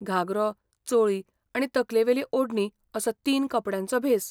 घागरो, चोळी आनी तकलेवेली ओडणी असो तीन कपडयांचो भेस.